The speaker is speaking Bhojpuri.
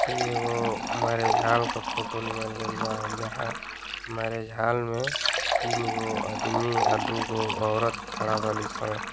इ एगो मैंरिज हॉल क फोटो लिहल गएल बा जहां मैंरिज हॉल में तीन गो अदमी आ दुगो औरत खड़ा बाली सन।